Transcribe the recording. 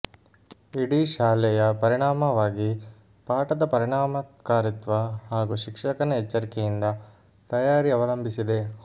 ಇಡೀ ಶಾಲೆಯ ಪರಿಣಾಮವಾಗಿ ಪಾಠದ ಪರಿಣಾಮಕಾರಿತ್ವ ಹಾಗೂ ಶಿಕ್ಷಕನ ಎಚ್ಚರಿಕೆಯಿಂದ ತಯಾರಿ ಅವಲಂಬಿಸಿದೆ